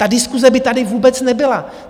Ta diskuse by tady vůbec nebyla.